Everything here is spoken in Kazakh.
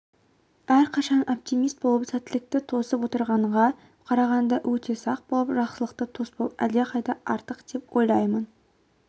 әрқашан оптимист болып сәттілікті тосып отырғанға қарағанда өте сақ болып жақсылықты тоспау әлдеқайда артық деп ойлаймын